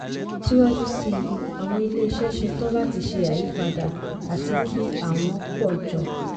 síwájú sí i àwọn ilé-iṣẹ ṣe tán láti ṣe àyípadà àti kí àwọn pọ̀ jọ.